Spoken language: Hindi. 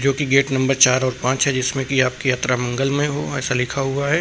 जो कि गेट नंबर चार और पांच है जिसमें कि आपकी यात्रा मंगलमय हो ऐसा लिखा हुआ है।